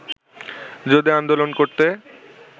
যদি আন্দোলন করতে